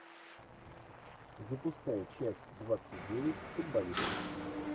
запускай часть двадцать девять футболисты